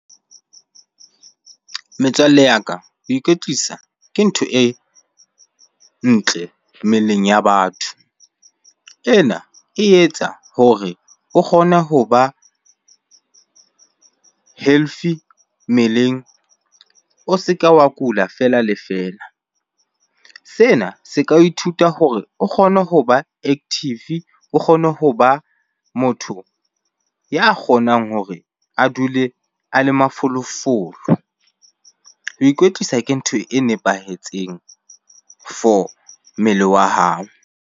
Metswalle ya ka, ho ikwetlisa ke ntho e ntle mmeleng ya batho. Ena e etsa hore o kgone hoba healthy mmeleng, o se ke wa kula fela le fela. Sena se ka ithuta hore o kgone ho ba active, o kgone ho ba motho ya kgonang hore a dule a le mafolofolo. Ho ikwetlisa ke ntho e nepahetseng for mmele wa hao.